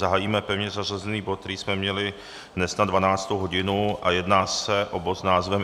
Zahájíme pevně zařazený bod, který jsme měli dnes na 12. hodinu, a jedná se o bod s názvem